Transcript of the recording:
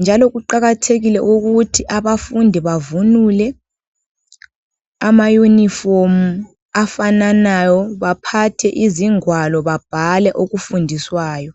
njalo kuqakathekile ukuthi abafundi bavunule amayunifomu afananayo baphathe izingwalo babhale okufundiswayo.